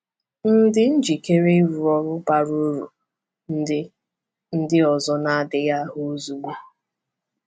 M̀ dị njikere ịrụ ọrụ bara uru ndị ndị ọzọ na-adịghị ahụ ozugbo?’